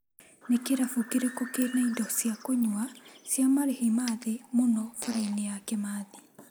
Nĩ kĩrabu kĩrĩkũ kĩna indo cia kũnyua cia marĩhi ma thĩ mũno bara-inĩ ya Kĩmathi?